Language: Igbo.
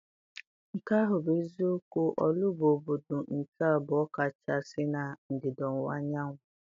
Nke ahụ bụ eziokwu, Orlu bụ obodo nke abụọ kachasị na ndịda ọwụwa anyanwụ.